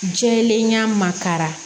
Jɛlenya makara